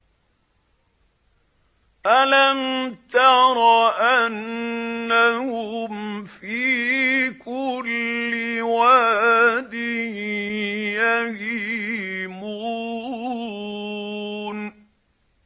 أَلَمْ تَرَ أَنَّهُمْ فِي كُلِّ وَادٍ يَهِيمُونَ